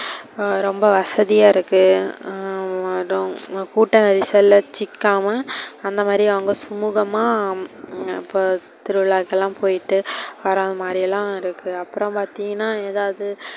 ரொம்ப வசதியா இருக்கு ஹம் கூட்ட நெரிசல்ல சிக்காம, அந்த மாரி அவங்க சுமூகமா திருவிழாக்குலாம் போயிட்டு வர மாரியெல்லா இருக்கு. அப்புறோ பாத்திங்கனா எதாவது,